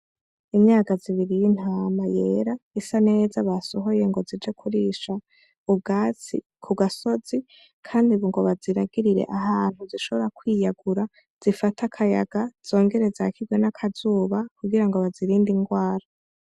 Imyagazi ibiri y'intama yera isa neza basohoye ngo zije kurisha ubwatsi ku gasozi kandi ngo baziragirire ahantu zishobora kwiyagura zifate akayaga zongere zakigwe n'akazuba kugira ngo bazirinde indwara.